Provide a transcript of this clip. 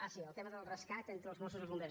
ah sí el tema del rescat entre els mossos i els bombers